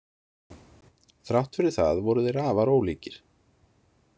Þrátt fyrir það voru þeir afar ólíkir.